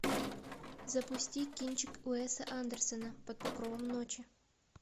запусти кинчик уэса андерсена под покровом ночи